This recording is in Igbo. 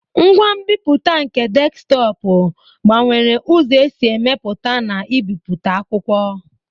Ngwa mbiputa nke Deskitopu gbanwere ụzọ e si emepụta na ibipụta akwụkwọ.